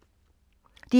DR2